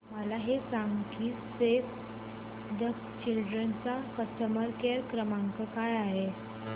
मला हे सांग की सेव्ह द चिल्ड्रेन चा कस्टमर केअर क्रमांक काय आहे